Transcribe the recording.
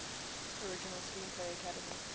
original screenplay academy